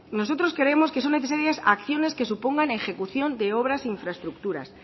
nosotros creemos que son necesarias acciones que supongan ejecución de obras e infraestructuras